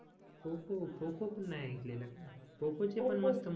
पोकॉ पोकॉ पण नाही ऐकलंला का पोकॉ चे पण